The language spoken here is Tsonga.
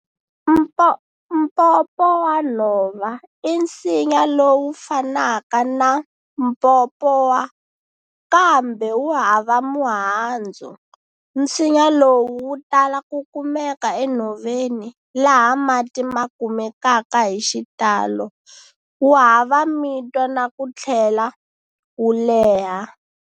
Mpopowanhova i nsinya lowu fanaka na Mpopowa, kambe wu hava muhandzu. Nsinya lowu wu tala ku kumeka enhoveni laha mati makumekaka hixitalo, wu hava mitwa na ku tlhela wu leha.